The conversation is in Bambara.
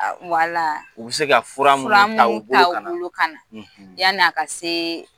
Wala u bɛ se ka fura minnu ta u bolo kana, fura munnu ta u bolo kana, yani a ka se